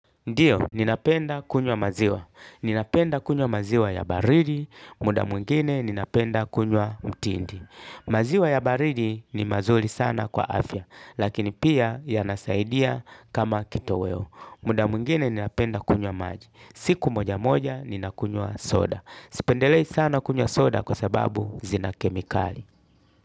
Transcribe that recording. Ndiyo, ninapenda kunywa maziwa. Ninapenda kunywa maziwa ya baridi, muda mwingine ninapenda kunywa mtindi. Maziwa ya baridi ni mazuri sana kwa afya, lakini pia yanasaidia kama kitoweo. Muda mwingine ninapenda kunywa maji. Siku moja moja ninakunywa soda. Sipendelei sana kunywa soda kwa sababu zina kemikali.